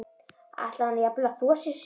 Ætlaði hún jafnvel að þvo sjálf?